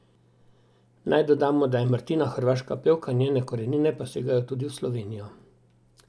Naj dodamo, da je Martina hrvaška pevka, njene korenine pa segajo tudi v Slovenijo.